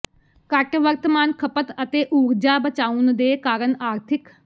ਘੱਟ ਵਰਤਮਾਨ ਖਪਤ ਅਤੇ ਊਰਜਾ ਬਚਾਉਣ ਦੇ ਕਾਰਨ ਆਰਥਿਕ